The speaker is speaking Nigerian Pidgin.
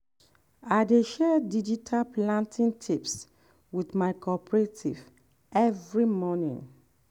i dey share digital planting tips wit my cooperative every morning.